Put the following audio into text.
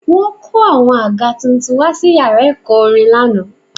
Wọ́n kó àwọn àga tuntun wá sí yàrá ẹ̀kọ́ orin lánàá